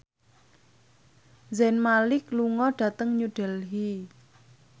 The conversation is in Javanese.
Zayn Malik lunga dhateng New Delhi